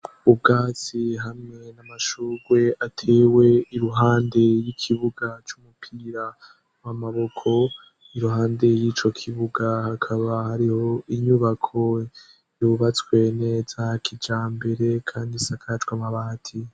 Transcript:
Ubwatsi hamwe n'amashugwe atewe iruhande y'ikibuga c'umupira w'amaboko, iruhande y'ico kibuga, hakaba hariho inyubako yubatswe neza kijambere kandi isakajwe amabati.